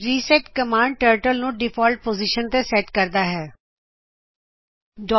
reset command turtle ਨੂੰ default position ਤੇ set ਕਰਦੀ ਹੈਂ